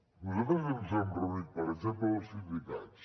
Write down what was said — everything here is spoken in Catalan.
nosaltres ens hem reunit per exemple amb els sindicats